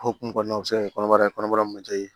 Hokumu kɔnɔna na se ka kɛ kɔnɔbara ye kɔnɔbara